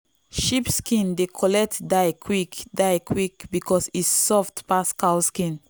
sheep skin dey collect dye quick dye quick because e soft pass cow skin.